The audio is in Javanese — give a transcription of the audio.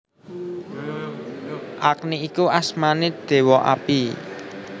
Agni iku asmané Déwa Api